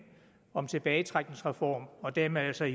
om tilbagetrækningsreform og dermed altså